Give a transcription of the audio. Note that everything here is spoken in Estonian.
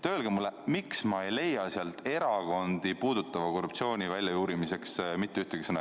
Öelge mulle, miks ma ei leia sealt mitte ühtegi sõna erakondi puudutava korruptsiooni väljajuurimise kohta.